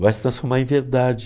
Vai se transformar em verdade.